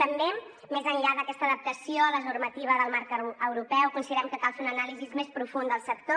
també més enllà d’aquesta adaptació a la normativa del marc europeu considerem que cal fer una anàlisi més profunda del sector